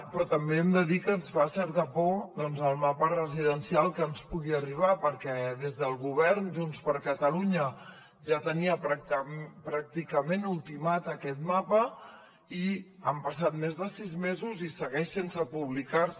però també hem de dir que ens fa certa por doncs el mapa residencial que ens pugui arribar perquè des del govern junts per catalunya ja tenia pràcticament ultimat aquest mapa i han passat més de sis mesos i segueix sense publicar se